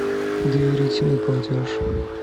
доверительный платеж